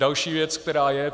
Další věc, která je.